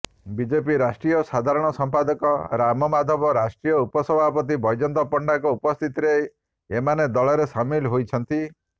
BJP ରାଷ୍ଟ୍ରୀୟ ସାଧାରଣ ସମ୍ପାଦକ ରାମମାଧବ ରାଷ୍ଟ୍ରୀୟ ଉପସଭାପତି ବୈଜୟନ୍ତ ପଣ୍ଡାଙ୍କ ଉପସ୍ଥିତିରେ ଏମାନେ ଦଳରେ ସାମିଲ ହୋଇଛନ୍ତି